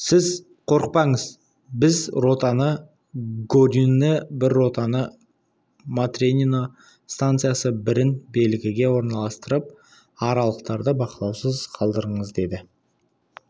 сіз қорықпаңыз бір ротаны горюны бір ротаны матренино станциясы бірін белгіге орналастырып аралықтарды бақылаусыз қалдырыңыз деді